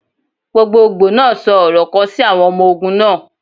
Gbogbogbo naa sọ ọrọ kan si awọn ọmọ ogun naa.